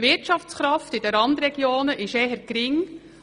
Die Wirtschaftskraft in den Randregionen ist eher gering.